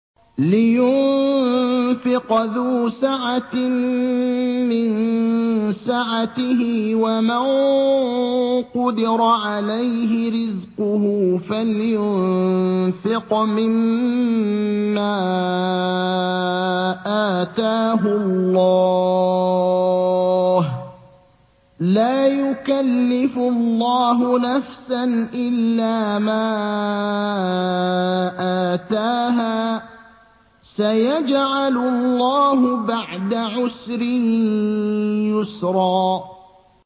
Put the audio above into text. لِيُنفِقْ ذُو سَعَةٍ مِّن سَعَتِهِ ۖ وَمَن قُدِرَ عَلَيْهِ رِزْقُهُ فَلْيُنفِقْ مِمَّا آتَاهُ اللَّهُ ۚ لَا يُكَلِّفُ اللَّهُ نَفْسًا إِلَّا مَا آتَاهَا ۚ سَيَجْعَلُ اللَّهُ بَعْدَ عُسْرٍ يُسْرًا